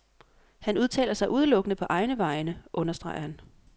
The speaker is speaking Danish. Han udtaler sig udelukkende på egne vegne, understreger han.